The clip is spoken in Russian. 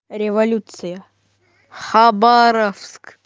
революция хабаровск